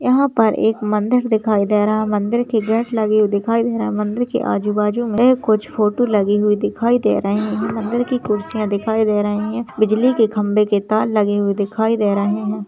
यहाँ पे एक मंदिर दिखाई दे रहा है मंदिर के गेट लगे हुए दिखाई दे रहे हैं मंदिर के आजु बाजू में कुछ फोटो लगे हुए दिखाई दे रहे हैं मंदिर की कुर्सियां दिखाई दे रही है बिजली के खम्बे के तार लगे हुए दिखाई दे रहे हैं।